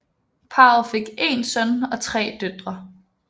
Parret fik én søn og tre døtre